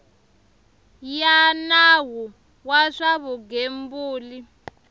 ya nawu wa swa vugembuli